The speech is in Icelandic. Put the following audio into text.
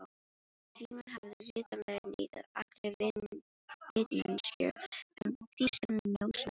Símon hafði vitanlega neitað allri vitneskju um þýska njósnara.